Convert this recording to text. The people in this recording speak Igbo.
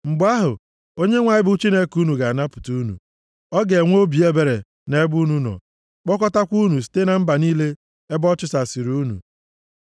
Mgbe ahụ, Onyenwe anyị bụ Chineke unu ga-anapụta unu. Ọ ga-enwe obi ebere nʼebe unu nọ kpọkọtakwa unu site na mba niile ebe ọ chụsasịrị unu.